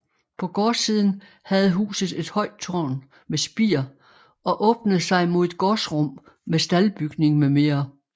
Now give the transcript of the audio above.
På gårdsiden havde huset et højt tårn med spir og åbnede sig mod et gårdsrum med staldbygning mm